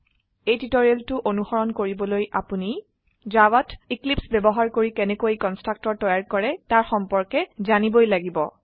এই টিউটোৰিয়েলটো অনুসৰণ কৰিবলৈ আপোনি জাভাত এক্লিপছে বয়ৱহাৰ কৰি কেনেকৈ কন্সট্ৰাকটৰ তৈয়াৰ কৰে তাৰ সম্পৰ্কে জানিবই লাগিব